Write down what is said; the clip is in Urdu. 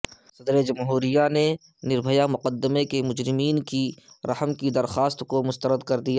صدر جمہوریہ نے نربھیا مقدمہ کے مجرمین کی درخواست رحم کو مسترد کردیا